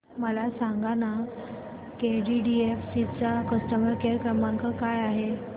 मला सांगाना केटीडीएफसी चा कस्टमर केअर क्रमांक काय आहे